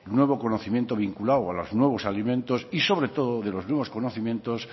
nuevo conocimiento vinculado a los nuevos alimentos y sobre todo de los nuevos conocimientos